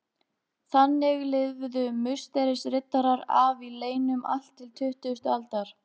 Þannig lifðu Musterisriddarar af í leynum allt til tuttugustu aldar.